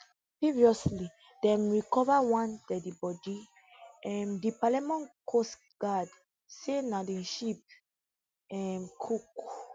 previously dem recova one deadibodi um di palermo coastguard say na di ship um cook